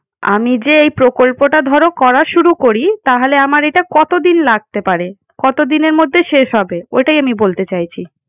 আমি যে এই প্রকল্পটা ধরো করা শুরু করি। তাহলে আমার এটা কতদিন লাগতে পারে? কতদিনের মধ্যে শেষ হবে? ওটাই আমি বলতে চাইছি।